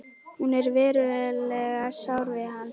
Hún er verulega sár við hann.